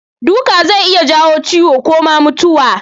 Duka zai iya janyo ciwo ko ma mutuwa.